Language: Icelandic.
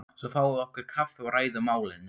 Svo fáum við okkur kaffi og ræðum málin.